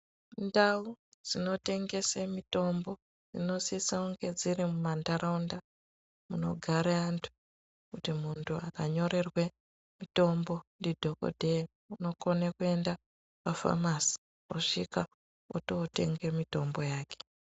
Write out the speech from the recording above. Ndau dzinotengese mitombo dzinosisa kunge dziri mumantaraunda munogare vantu kuti muntu akanyorerwe mitombo ndidhokodheya unokone kuenda pafamasi osvika otootenge mitombo yake.